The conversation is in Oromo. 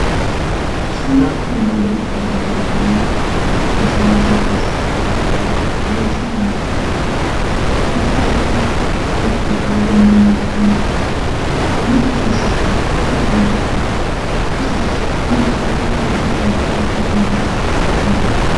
Suuraan armaan gadiitti argaa jirru kuni gosa meeshaa keessaa tokko ta'ee, meeshaa mana keessatti ibsaa itti gochuudhaan yommuu itti mana keessatti uffata miiccachuudhaaf akkasumas waantota qulqullina hin qabne ittiin qulqulleeffachuudhaaf kan nu gargaarudha.